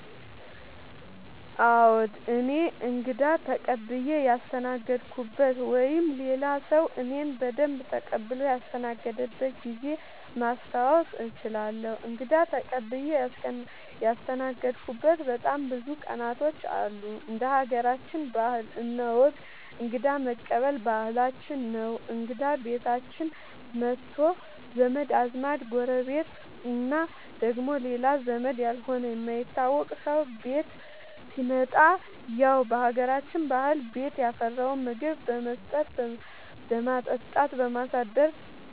አዎ እኔ እንግዳ ተቀብየ ያስተናገድኩበት ወይም ሌላ ሰዉ እኔን በደንብ ተቀብሎ ያስተናገደበት ጊዜ ማስታወስ እችላለሁ። እንግዳ ተቀብዬ ያስተናገድሁበት በጣም ብዙ ቀናቶች አሉ እንደ ሀገራችን ባህል እና ወግ እንግዳ መቀበል ባህላችን ነው እንግዳ ቤታችን መቶ ዘመድ አዝማድ ጎረቤት እና ደግሞ ሌላ ዘመድ ያልሆነ የማይታወቅ ሰው ቤት ሲመጣ ያው በሀገራችን ባህል ቤት ያፈራውን ምግብ በመስጠት በማጠጣት